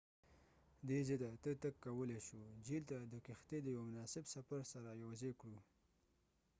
دي ځاته ته تګ کولای شو جهیل ته د کښتی د یو مناسب سفر سره یوځای کړو